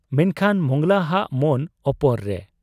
ᱢᱮᱱᱠᱷᱟᱱ ᱢᱚᱸᱜᱽᱞᱟ ᱦᱟᱜ ᱢᱚᱱ ᱚᱯᱚᱨ ᱨᱮ ᱾